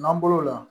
N'an bɔr'o la